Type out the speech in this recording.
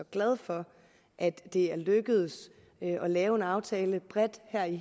glad for at det er lykkedes at lave en aftale bredt her i